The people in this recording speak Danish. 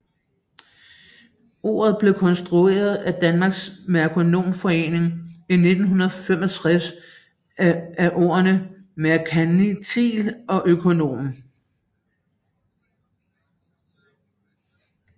Ordet blev konstrueret af Dansk Merkonomforening i 1965 af ordene merkantil og økonom